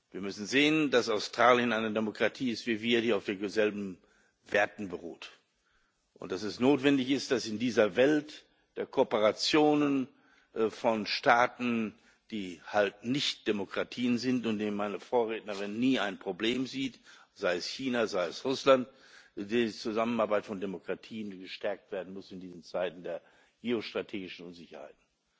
Wir müssen sehen, dass Australien eine Demokratie ist wie wir, die auf denselben Werten beruht, und dass es notwendig ist, dass in dieser Welt der Kooperationen von Staaten, die halt nicht Demokratien sind und in denen meine Vorrednerin nie ein Problem sieht sei es China, sei es Russland die Zusammenarbeit von Demokratien gestärkt werden muss in diesen Zeiten der geostrategischen Unsicherheiten.